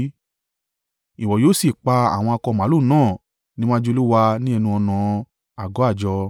Ìwọ yóò sì pa àwọn akọ màlúù náà níwájú Olúwa ní ẹnu-ọ̀nà àgọ́ àjọ.